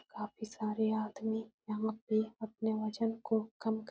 काफी सारे आदमी यहाँ पे अपने वजन को कम कर --